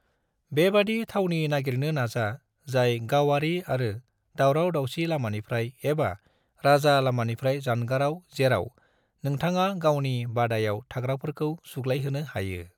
बेबादि थावनि नागिरनो नाजा जाय गावारि आरो दावराव-दावसि लामानिफ्राय एबा राजा लामानिफ्राय जानगाराव जेराव नोंथाङा गावनि बादायाव थाग्राफोरखौ सुग्लायहोनो हायो।